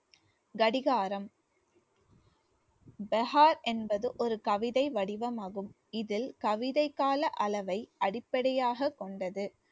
கடிகாரம் பகார் என்பது ஒரு கவிதை வடிவமாகும், இதில் கவிதை கால அளவை அடிப்படையாகக் கொண்டது